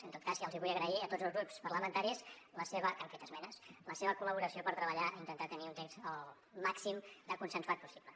en tot cas ja els vull agrair a tots els grups parlamentaris que han fet esmenes la seva col·laboració per treballar i intentar tenir un text el màxim de consensuat possible